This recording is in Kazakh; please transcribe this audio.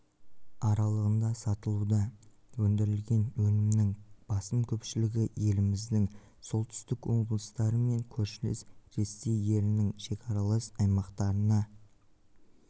аралығында сатылуда өндірілген өнімнің басым көпшілігі еліміздің солтүстік облыстары мен көршілес ресей елінің шекаралас аймақтарына